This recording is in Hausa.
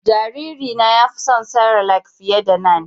Jariri na ya fi son cerelac fiƴe da nan